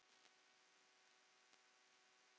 Ég mun ávallt elska þig.